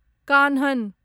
Kanhan